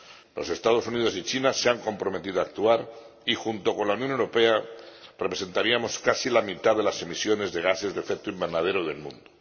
Los Estados Unidos y China se han comprometido a actuar y, junto con la Unión Europea, representaríamos casi la mitad de las emisiones de gases de efecto invernadero del mundo.